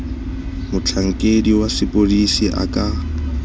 motlhankedi wa sepodisi a ka